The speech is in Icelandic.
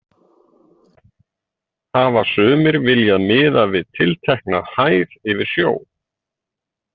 Hafa sumir viljað miða við tiltekna hæð yfir sjó.